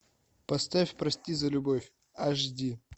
поставь прости за любовь аш ди